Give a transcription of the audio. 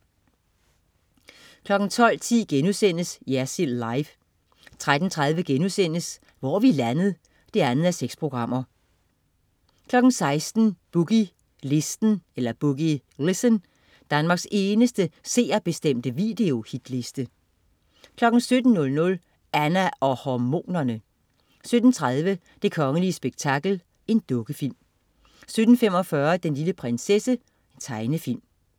12.10 Jersild Live* 13.30 Hvor er vi landet? 2:6* 16.00 Boogie Listen. Danmarks eneste seerbestemte videohitliste 17.00 Anna og hormonerne! 17.30 Det kongelige spektakel. Dukkefilm 17.45 Den lille prinsesse. Tegnefilm